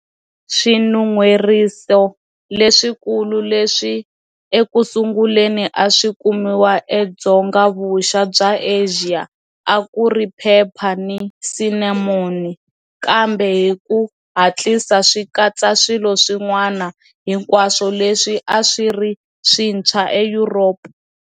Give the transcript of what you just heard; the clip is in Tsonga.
Swinun'hweriso leswikulu leswi eku sunguleni a swi kumiwa eDzonga-vuxa bya Asia a ku ri phepha ni sinamoni, kambe hi ku hatlisa swi katsa swilo swin'wana, hinkwaswo leswi a swi ri swintshwa eYuropa.